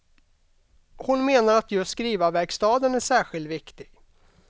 Hon menar att just skrivarverkstaden är särskilt viktig.